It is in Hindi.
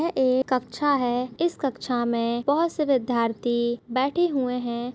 ये एक कक्षा है इस कक्षा मे बहुत से विद्यार्थी बैठे हुए है।